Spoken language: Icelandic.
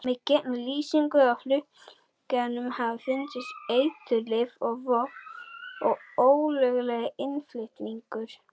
Með gegnumlýsingu á flutningatækjum hafa fundist eiturlyf, vopn og ólöglegir innflytjendur.